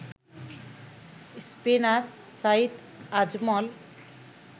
spinner Saeed Ajmal